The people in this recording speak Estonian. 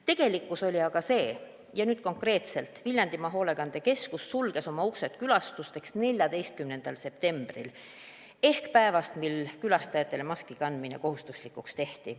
Tegelikkus oli aga see, ja nüüd konkreetselt: Viljandimaa Hoolekandekeskus sulges oma uksed külastajatele alates 14. septembrist ehk päevast, kui maski kandmine külastajatele kohustuslikuks tehti.